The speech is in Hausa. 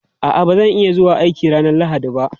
A'a, ba zan iya zuwa aiki ranar Lahadi ba.